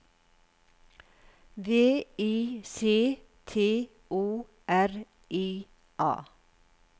V I C T O R I A